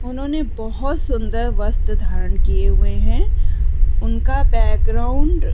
उन्होंने बहुत सुंदर वस्त्र धारण किए हुए हैं उनका बैकग्राउंड --